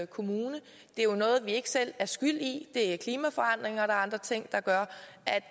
kommune det er jo noget vi ikke selv er skyld i det er klimaforandringer og andre ting der gør